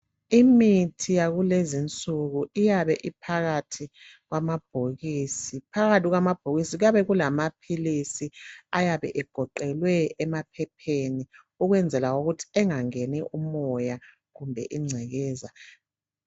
Imithi yakulezinsuku iyabe iphakathi kwamabhokisi phakathi kwamabhokisi phakathi kwamabhokisi kuyabe kulamapills ayabe egoqelwe emaphepheni ukwenzela ukuthi engangeni emoya kumbe ingcekeza